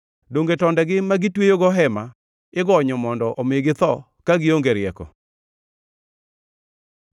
Donge tondegi ma gitweyogo hema igonyo, mondo omi githo ka gionge rieko?’